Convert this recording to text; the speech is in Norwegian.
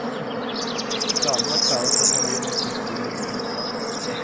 Planene var klare før familien flyttet inn i det nye husværet.